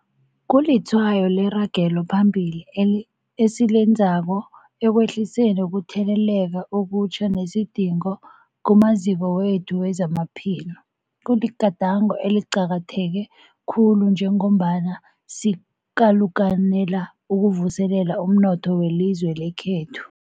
Kulitshwayo leragelo phambili esilenzako ekwehliseni ukutheleleka okutjha nesidingo kumaziko wethu wezamaphilo. Kuligadango eliqakatheke khulu njengombana sikalukanela ukuvuselela umnotho welizwe lekhethu.